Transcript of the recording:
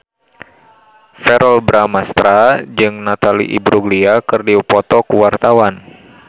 Verrell Bramastra jeung Natalie Imbruglia keur dipoto ku wartawan